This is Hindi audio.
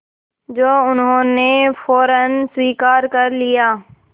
जो उन्होंने फ़ौरन स्वीकार कर लिया